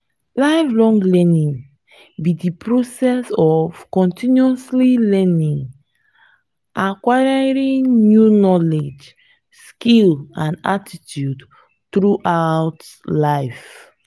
lifelong learning be di process of continuously acquiring new knowledge skills and attitude throughout life.